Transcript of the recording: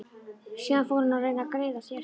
Síðan fór hún að reyna að greiða sér.